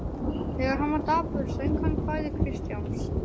Þegar hann var dapur söng hann kvæði Kristjáns